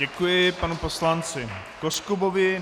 Děkuji panu poslanci Koskubovi.